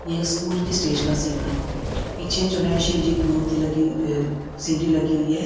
ये स्कूल की स्टेज का सीन है पीछे जो है शिव जी कि मूर्ति लगी हु अ सिनरी लगी हुई है।